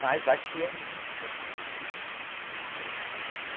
Mas aqui é muito gostoso, muito gostoso mesmo.